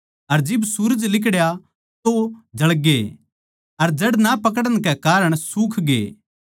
अर जिब सूरज लिकड़या तो जळगे अर जड़ ना पकड़न कै कारण सुखगे